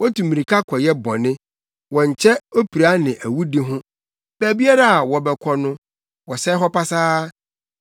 Wotu mmirika kɔyɛ bɔne; wɔnkyɛ opira ne awudi ho. Baabiara a wɔbɛkɔ no, wɔsɛe hɔ pasaa.